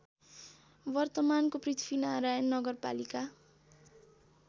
वर्तमानको पृथ्वीनारायण नगरपालिका